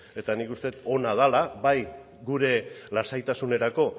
eta nik uste dut ona dela bai gure lasaitasunerako